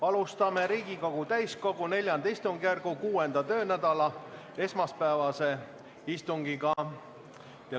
Alustame Riigikogu täiskogu IV istungjärgu 6. töönädala esmaspäevast istungit.